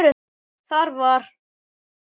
Þar var